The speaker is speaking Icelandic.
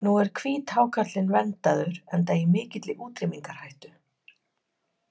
Nú er hvíthákarlinn verndaður enda í mikilli útrýmingarhættu.